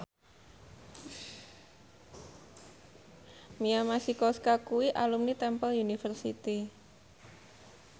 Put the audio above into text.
Mia Masikowska kuwi alumni Temple University